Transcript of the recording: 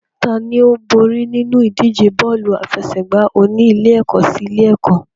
Tani ó borí nínú ìdíje bọ́ọ̀lù aláfẹsẹ̀gbá oní ilé-ẹ̀kọ́ sí ilé-ẹ̀kọ́?